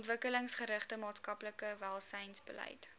ontwikkelingsgerigte maatskaplike welsynsbeleid